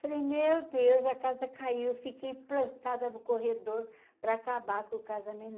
Falei, meu Deus, a casa caiu, fiquei plantada no corredor para acabar com o